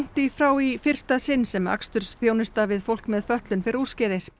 í frá í fyrsta sinn sem við fólk með fötlun fer úrskeiðis